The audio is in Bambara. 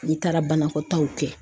N'i taara banakɔtaw kɛ.